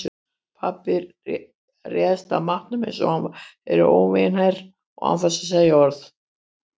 Pabbi réðst að matnum einsog hann væri óvinaher og án þess að segja orð.